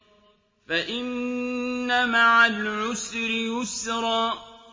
فَإِنَّ مَعَ الْعُسْرِ يُسْرًا